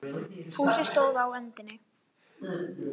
Fúsi stóð á öndinni.